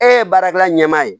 E ye baarakɛla ɲɛmaa ye